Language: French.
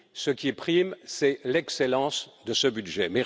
Ce qui prime, c'est l'excellence de ce budget.